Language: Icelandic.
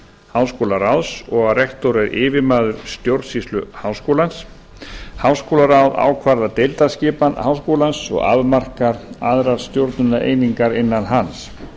háskólaráðs og að rektor er yfirmaður stjórnsýslu háskólans háskólaráð ákvarðar deildaskipan háskólans og afmarkar aðrar stjórnunareiningar innan hans